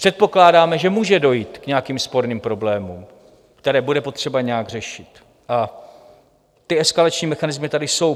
Předpokládáme, že může dojít k nějakým sporným problémům, které bude potřeba nějak řešit, a ty eskalační mechanismy tady jsou.